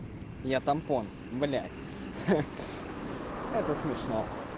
я тампон блять это смешно